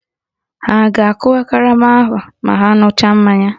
Ha a ga-akụwa karama ma ha ṅucha mmanya?